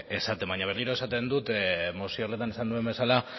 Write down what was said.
esaten baina berriro esaten dut